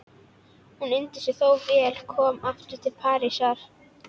Hún unir sér þó vel komin aftur til Parísar.